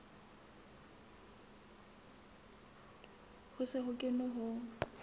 ho se ho kenwe ho